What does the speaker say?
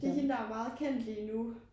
Det hende der er meget kendt lige nu